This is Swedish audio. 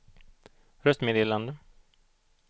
röstmeddelande